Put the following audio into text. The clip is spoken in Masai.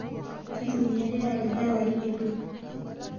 Keitumiyarita ldawai eedwua